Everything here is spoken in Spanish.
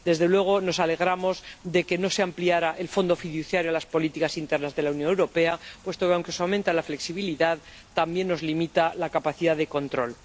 Desde luego, nos alegramos de que no se ampliara el fondo fiduciario a las políticas internas de la Unión Europea, puesto que, aunque se aumenta la flexibilidad, también nos limita la capacidad de control.